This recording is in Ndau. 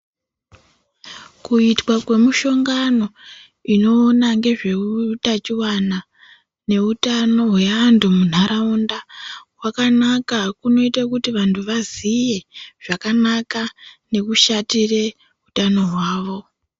Kuitwa kwemishongano inoona ngezve utachiwana neutano hweantu munharaunda kwakanaka kunoita kuti vantu vaziye zvakanaka nekushatire utano hwavo.